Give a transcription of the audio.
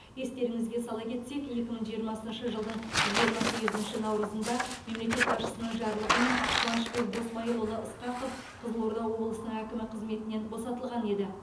естеріңізге сала кетсек екі мың жиырмасыншы жылдың жиырма сегізінші наурызында мемлекет басшысының жарлығымен қуанышбек досмайылұлы ысқақов қызылорда облысының әкімі қызметінен босатылған еді